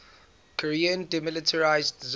korean demilitarized zone